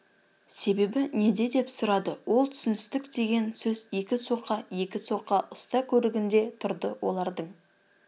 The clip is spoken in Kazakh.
себебі неде деп сұрады ол түсіністік деген сөз екі соқа екі соқа ұста көрігінде тұрды олардың